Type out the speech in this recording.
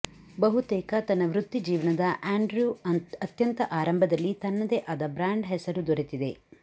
ಬಹುತೇಕ ತನ್ನ ವೃತ್ತಿಜೀವನದ ಆಂಡ್ರ್ಯೂ ಅತ್ಯಂತ ಆರಂಭದಲ್ಲಿ ತನ್ನದೇ ಆದ ಬ್ರಾಂಡ್ ಹೆಸರು ದೊರೆತಿದೆ